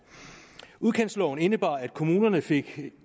udkantsloven indebar at kommunerne fik